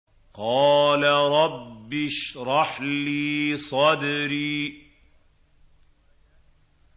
قَالَ رَبِّ اشْرَحْ لِي صَدْرِي